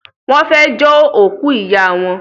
wón fè jo òkú rẹ ìyá wọn.